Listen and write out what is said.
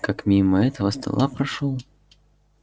как мимо этого стола прошёл